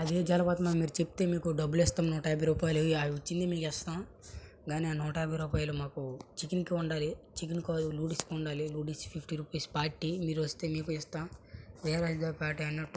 అది జలపాతమమ్మా మీరు చెప్తే మీకు డబ్బులిస్తం నూట యాభై రూపాయలు అచ్చిందే మేం చేస్తమ్ కానీ ఆ నూట యాభై రూపాయల్ మాకు చికెన్ కి ఉండాలి చికెన్ కాదు నూడిల్స్ కుండాలి నూడిల్స్ ఫిఫ్టీ రూపీస్ పార్టీ మీరస్తే మీకు ఇస్తాం క్లియర్ వైస్ గా పార్టీ అన్నట్టు.